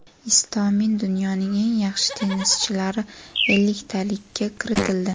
Istomin dunyoning eng yaxshi tennischilari elliktaligiga kiritildi.